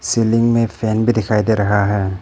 Ceiling में fan भी दिखाई दे रहा है।